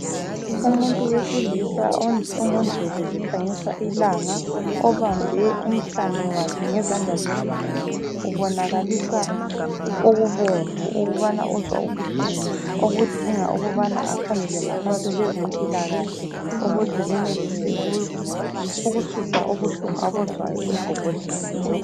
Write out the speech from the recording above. Umuntu wesilisa ongu ndlebe zikhanyisa ilanga obambe, umhlane wakhe ngezandla zombili ubonakalisa ububomvu ukubana uzwa ubuhlungu okudinga ukubana akhangelwe ngabantu bezempilakahle ukuze benelise ukususa ubuhlungu abuzwayo emgogodleni.